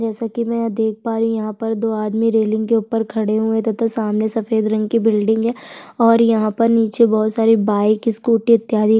जैसा की मैं देख पा रही हूँ यहाँ पर दो आदमी रेलिंग के ऊपर खड़े हुए है तथा सामने सफ़ेद रंग की बिल्डिंग है और यहाँ पर नीचे मे बोहत सारी बाइक स्कूटी इत्यादि--